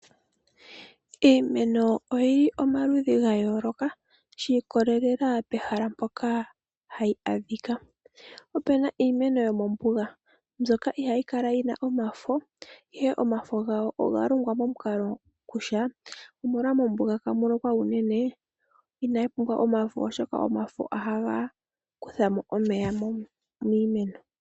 Iimeno oyili omaludhi gayooloka shiikolelela pehala mpoka hayi adhikaopena iimeno yomombuga mbyoka ihayi kala yina omafo ihe omafo gawo ogalongwa momukalo kutya, molwaashoka mombuga ihamu lokwa uunene inayi pumbwa omafo oshoka omafo ohaga kuthamo omeya miimeno.